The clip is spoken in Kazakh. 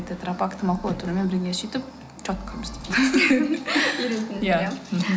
тетропакты макулатурамен бірге сөйтіп четко бізде иә мхм